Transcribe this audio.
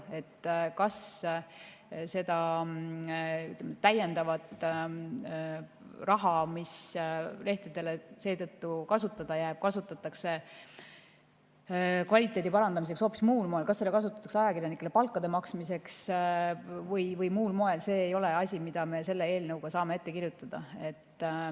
See, kas seda täiendavat raha, mis lehtedel kasutada jääb, kasutatakse kvaliteedi parandamiseks või hoopis muul moel, kas seda kasutatakse ajakirjanikele palga maksmiseks või muul moel, ei ole asi, mida me selle eelnõuga saame ette kirjutada.